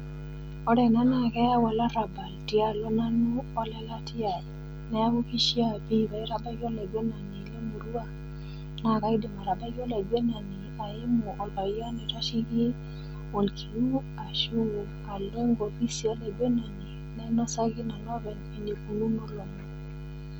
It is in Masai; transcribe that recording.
Ore ena na keyau olarabal tialo nanu olelatia ai, neaku keishaa pii paitabaiki olaingwenani lemurua naa kaidim atabaiki olaigwenani aimu olpayian loitasheki olkiu ashu alo enkofisi olaigwenani nainosaki nanu openy eneikununo.